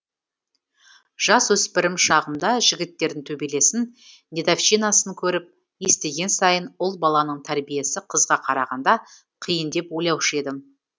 жасөспірім шағымда жігіттердің төбелесін дедовщинасын көріп естіген сайын ұл баланың тәрбиесі қызға қарағанда қиын деп ойлаушы едім